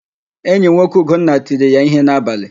Enyinwoke Ugonna tiri ya íhé n'abalị.